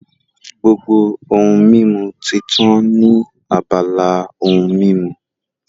Gbogbo ohun mímu ti tán ní abala ohun mímu